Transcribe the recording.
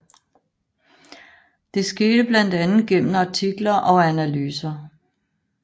Det skete blandt andet gennem artikler og analyser